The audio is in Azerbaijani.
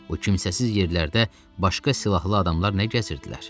O kimsəsiz yerlərdə başqa silahlı adamlar nə gəzirdilər?